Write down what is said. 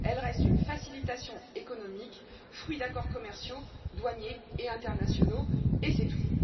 elle reste une facilitation économique, fruit d'accords commerciaux, douaniers et internationaux et c'est tout.